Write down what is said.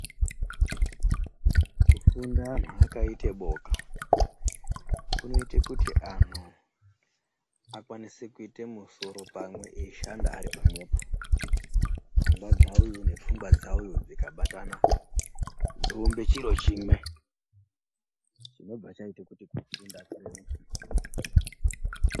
Kufunda anhu akaite boka kunoite kuti anhu akwanise kuite musoro pamwe eishanda ari pamwepo pfungea dzauyu nedza uyu dzikabatana dzoumbe chiro chimwe chinobva chaite kuti kufunda kureruke.